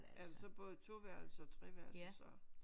Er det så både toværelses og treværelses og